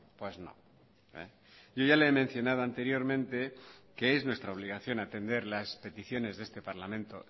pues no yo ya le he mencionado anteriormente que es nuestra obligación atender las peticiones de este parlamento